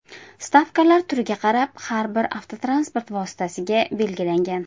Stavkalar turiga qarab har bir avtotransport vositasiga belgilangan.